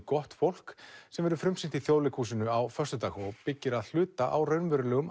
gott fólk sem verður frumsýnt í Þjóðleikhúsinu á föstudag og byggir að hluta á raunverulegum